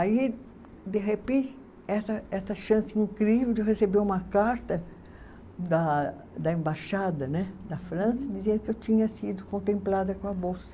Aí, de repente, essa essa chance incrível de receber uma carta da da Embaixada, né, da França dizendo que eu tinha sido contemplada com a bolsa.